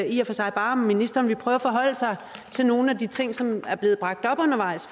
i og for sig bare om ministeren vil prøve at forholde sig til nogle af de ting som er blevet bragt op undervejs